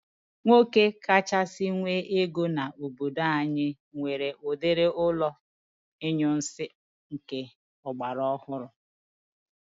Nwoke kachasị nwe ego n'obodo anyị nwere udiri ụlọ inyunsi nke agbara ọhụrụ